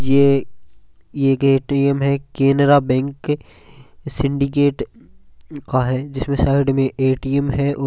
ये एक एटीएम है केनरा बैंक सीधी गेट का है जिसमें साइड में एटीएम है।